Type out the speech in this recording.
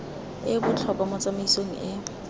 e botlhokwa mo tsamaisong e